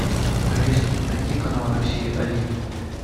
алиса найди канал россия один